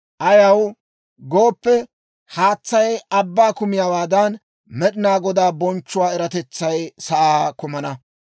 Ayaw gooppe, haatsay abbaa kammiyaawaadan, Med'ina Godaa bonchchuwaa eratetsay sa'aa kumana.